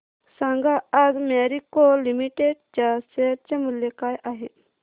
सांगा आज Marico limited च्या शेअर चे मूल्य काय आहे